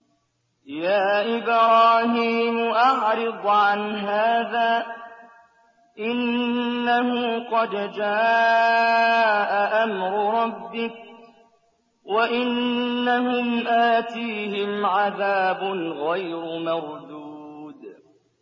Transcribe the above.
يَا إِبْرَاهِيمُ أَعْرِضْ عَنْ هَٰذَا ۖ إِنَّهُ قَدْ جَاءَ أَمْرُ رَبِّكَ ۖ وَإِنَّهُمْ آتِيهِمْ عَذَابٌ غَيْرُ مَرْدُودٍ